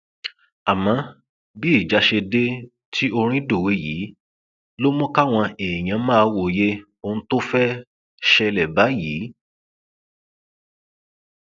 àmọ bí ìjà ṣe dé tí orin dòwe yìí ló mú káwọn èèyàn máa wòye ohun tó fẹẹ ṣẹlẹ báyìí